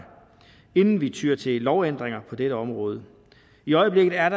inden vi tyr til lovændringer på dette område i øjeblikket er